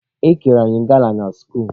E kere anyị gala na skuulu.